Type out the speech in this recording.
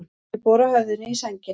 Ég bora höfðinu í sængina.